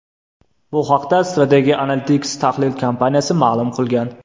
Bu haqda Strategy Analytics tahlil kompaniyasi ma’lum qilgan .